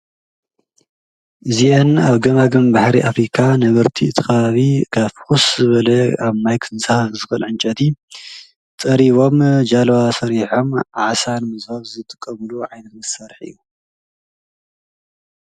እዚአን ኣብ ገማገም ባሕሪ ኣፊሪካ ነበርቲ እትኻዊ ካፍኹስ ዘበለየ ኣብ ማይክንሳፈፍ ዘኽእል ዕንጨቲ ጸሪቦም ጃለዋ ሰሪሖም ኣዓሳን ምዝፍ ዘትቐምሉ ዓይንት መሠርሕ እዩ።